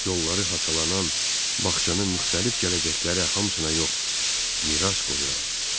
Yolları haçalanan bağçanın müxtəlif gələcəklərə hamısına yox, miras qoyuram.